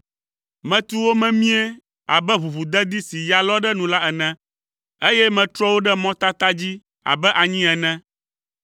Metu wo memie abe ʋuʋudedi si ya lɔ ɖe nu la ene, eye metrɔ wo ɖe mɔtata dzi abe anyi ene.